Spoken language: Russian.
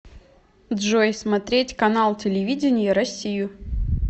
джой смотреть канал телевидения россию